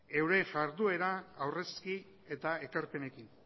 euren jarduera aurrezki eta ekarpenekin